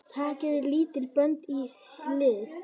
Takið líka bönd í hlið.